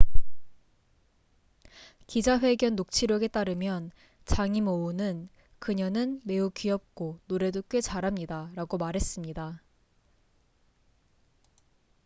"기자 회견 녹취록에 따르면 장이모우는 "그녀는 매우 귀엽고 노래도 꽤 잘합니다""라고 말했습니다.